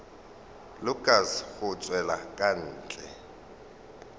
lukas go tšwela ka ntle